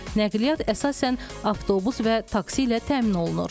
Nəqliyyat əsasən avtobus və taksi ilə təmin olunur.